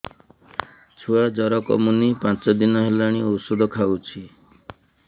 ଛୁଆ ଜର କମୁନି ପାଞ୍ଚ ଦିନ ହେଲାଣି ଔଷଧ ଖାଉଛି